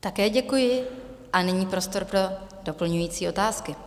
Také děkuji a nyní prostor pro doplňující otázky.